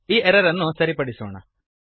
ಈ ಎರರ್ ಅನ್ನು ಸರಿಪಡಿಸೋಣ